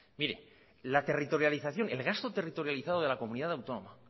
el gasto territorializado de la comunidad autónoma